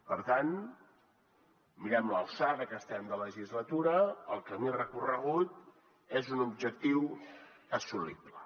per tant mirem l’alçada que estem de legislatura el camí recorregut és un objectiu assolible